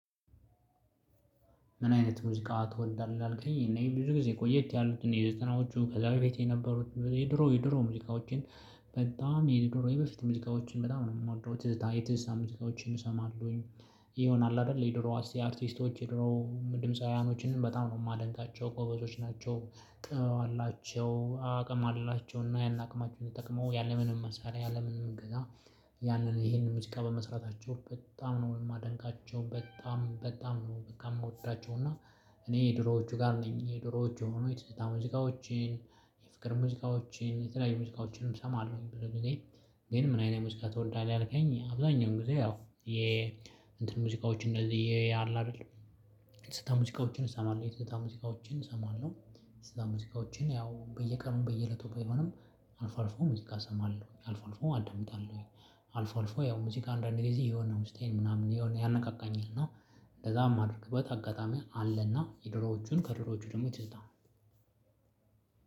ምን አይነት ሙዚቃ ትወዳለህ አልከኝ እኔ ብዙ ጊዜ ቆየት ያሉት ዘጠናዎቹ ከዛ በፊት የነበሩት የድሮ የድሮ ሙዚቃዎችን በጣም የድሮ በፊት ሙዚቃዎችን በጣም ነው የምወደው ትዝታ የትዝታ ሙዚቃዎችን እሰማለሁኝ። ይሄ ይሆናል አይደል የድሮ አርቲስቶች የድሮ ድምፃውያኖችን በጣም ነው የማደንቃቸው ጎበዞች ናቸው ጥበብ አላቸው አቅም አላቸው እና ያን አቅማቸውን ተጠቅመው ያለምንም መሳሪያ ያለምንም እገዛ። ያንን ይሄንን ሙዚቃ በመስራታቸው በጣም ነው የማደንቃቸው። በጣም በጣም ነው በቃ የምወዳቸው እና። እኔ የድሮዎቹ ጋር ነኝ የድሮዎቹ የሆኑ የትዝታ ሙዚቃዎችን የፍቅር ሙዚቃዎችን የተለያዩ ሙዚቃዎችን እሰማለሁ ብዙ ጊዜ። ግን ምን አይነት ሙዚቃ ትወዳለህ ያልከኝ? አብዛኛውን ጊዜ ያው የ እንትን ሙዚቃዎችን እንደዚህ ያለ አይደል የትዝታ ሙዚቃዎችን እሰማለሁ የትዝታ ሙዚቃዎችን እሰማለሁ። ሙዚቃዎችን ያው በየቀኑ በየእለቱ ባይሆንም። አልፎ አልፎ ሙዚቃ እሰማለሁ አልፎ አልፎ አዳምጣለሁኝ። አልፎ አልፎ ያው ሙዚቃ አንዳንዴ ጊዜ የሆነ ውስጤን ምናምን ያነቃቃኝን እና እንደዛ የማደርግበት አጋጣሚ አለና የድሮዎቹን ከድሮዎቹ ደግሞ ትዝታ